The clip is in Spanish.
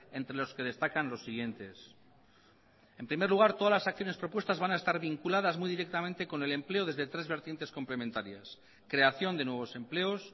entre los que destacan los siguientes en primer lugar todas las acciones propuestas van a estar vinculadas muy directamente con el empleo desde tres vertientes complementarias creación de nuevos empleos